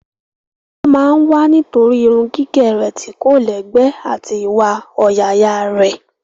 Wọ́n máa ń wá nítorí irun gígẹ̀ rẹ̀ tí kò lẹ́gbẹ́ àti iwa ọ̀yàyà rẹ̀.